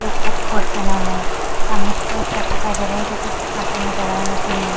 Blue colour का coat पहना हुआ है। सामने की तरफ शर्ट दिखाई दे रहे है जो की कुछ करते हुए नजर आ रहे मशीन में--